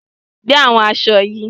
Gbé àwọn èso yìí!